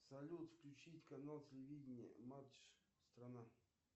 салют включить канал телевидение матч страна